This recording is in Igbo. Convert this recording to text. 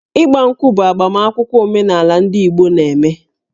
Ị́gbá ǹkwụ̀ bụ agbamakwụkwọ omenala ndị Igbo na-eme